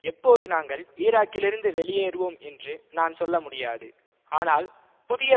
எப்போது நாங்கள் ஈராக்கிலிருந்து வெளியேறுவோம் என்று நான் சொல்ல முடியாது ஆனால் புதிய